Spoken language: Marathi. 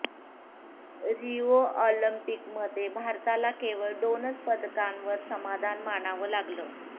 रिओ ऑलिम्पिकमध्ये भारताला केवळ दोनच पदकांवर समाधान मानावं लागलं